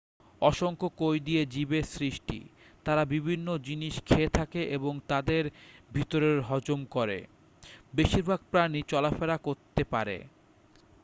অসংখ্য কোষ দিয়ে জীবের সৃষ্টি তারা বিভিন্ন জিনিস খেয়ে থাকে এবং তাদের ভিতরে হজম করে বেশিরভাগ প্রাণী চলাফেরা করতে পারে